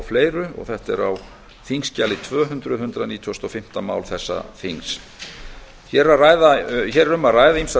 fleiri þetta er á þingskjali tvö hundruð hundrað nítugasta og fimmta mál þessa þings hér um að ræða ýmsar